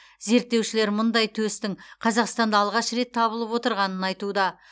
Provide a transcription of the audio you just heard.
зерттеушілер мұндай төстің қазақстанда алғаш рет табылып отырғанын айтуда